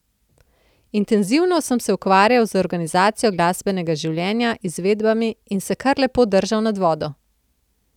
Intenzivno sem se ukvarjal z organizacijo glasbenega življenja, izvedbami in se kar lepo držal nad vodo.